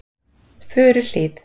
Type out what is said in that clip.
Furuhlíð